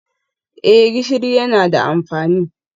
Eh gishiri yana da amfani